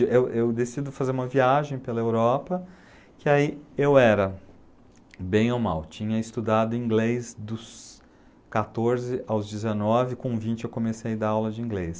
Eu eu decido fazer uma viagem pela Europa, que aí eu era, bem ou mal, tinha estudado inglês dos quatorze aos dezenove, com vinte eu comecei a dar aula de inglês.